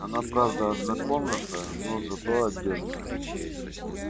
она правда однокомнатная но зато отдельная